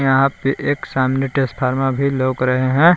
यहा पे एक सामने टेसफार्मा भी लउक रहे है।